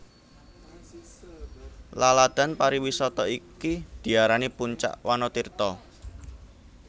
Laladan pariwisata iki diarani Puncak Wanatirta